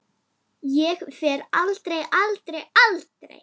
Ég fer aldrei. aldrei. aldrei.